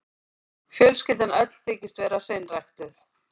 Fjölskyldan öll þykist vera hreinræktuð.